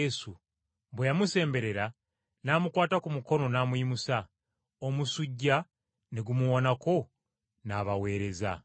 Bwe yamusemberera, n’amukwata ku mukono n’amuyimusa, omusujja ne gumuwonako, n’abaweereza!